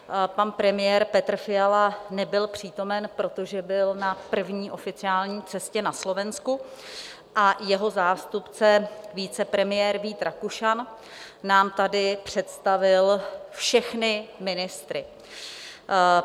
Pan premiér Petr Fiala nebyl přítomen, protože byl na první oficiální cestě na Slovensku, a jeho zástupce, vicepremiér Vít Rakušan, nám tady představil všechny ministry.